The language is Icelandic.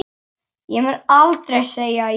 Ég mun aldrei segja já.